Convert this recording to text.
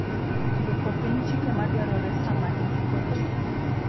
Duoko piny chike madwarore saa ma indiko lowo.